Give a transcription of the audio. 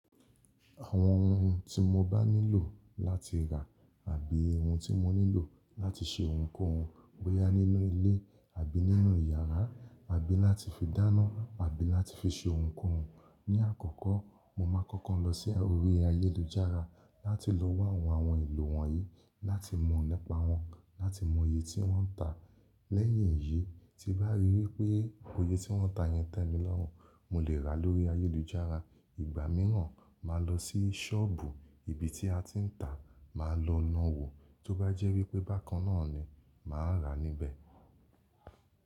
Àwọn ohun tí mo bá nílò láti rà àbí ohun tí mo nílò láti ṣe ohunkóhun, bóyá nínú ilé àbí nínú yàrá, àbí láti fi dáná àbí láti fi ṣe ohunkóhun, ní àkọ́kọ́ mo máa kọ́kọ́ lọ sí orí ayélujára láti lọ wá àwọn ohun èlò wọ̀nyí láti mọ̀ nípa wọn, láti mọ iye tí wọ́n ń tà. Leyin èyí, tí n bá rí wípé oye tí wọ́n tàá yẹn tẹ́ mi lọ́rùn, mo lè rà á lórí ayélujára. Ìgbà mìíràn ma lọ sí sọ́ọ̀bù, ibi tí a ti ń tà, màá lọ na wò, tó bá jẹ́ wípé bákan náà ni, màá ra níbẹ̀.